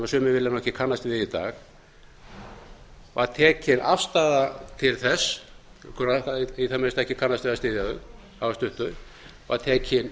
sem sumir vilja ekki kannast við í dag var tekin afstaða til þess í það minnsta ekki kannast við að hafa stutt þau var tekin